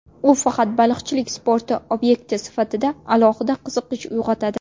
U faqat baliqchilik sporti obyekti sifatida alohida qiziqish uyg‘otadi .